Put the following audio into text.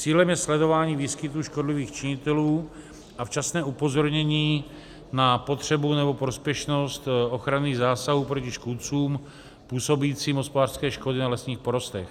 Cílem je sledování výskytu škodlivých činitelů a včasné upozornění na potřebu nebo prospěšnost ochranných zásahů proti škůdcům působícím hospodářské škody na lesních porostech.